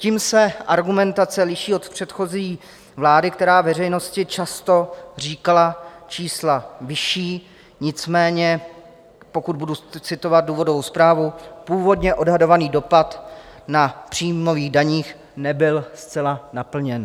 Tím se argumentace liší od předchozí vlády, která veřejnosti často říkala čísla vyšší, nicméně pokud budu citovat důvodovou zprávu, původně odhadovaný dopad na příjmových daních nebyl zcela naplněn.